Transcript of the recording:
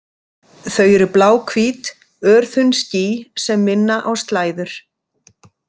Þau eru bláhvít, örþunn ský sem minna á slæður.